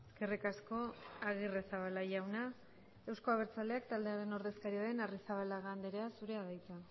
eskerrik asko agirrezabala jauna euzko abertzaleak taldearen ordezkaria den arrizabalaga andrea zurea da hitza